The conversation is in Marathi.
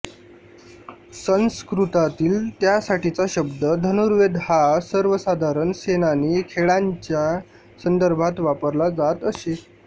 संस्कृतातील त्यासाठीचा शब्द धनुर्वेद हा सर्वसाधारण सेनानी खेळांच्या संदर्भात वापरला जात असे